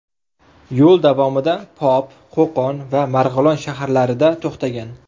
Yo‘l davomida Pop, Qo‘qon va Marg‘ilon shaharlarida to‘xtagan.